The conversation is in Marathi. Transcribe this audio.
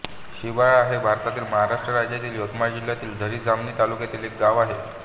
शिबाळा हे भारतातील महाराष्ट्र राज्यातील यवतमाळ जिल्ह्यातील झरी जामणी तालुक्यातील एक गाव आहे